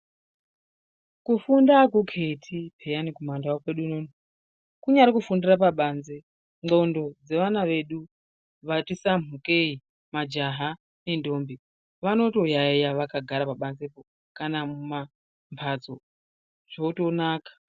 Kufunda akuketi piyani kumandau kwedu unono kunyari kufundira pabanze ngonhlondo dzevana vedu vatidambukei majaha nendombi vanotoyayeya vakagara pabanze po kana mumbatso zvotonaka.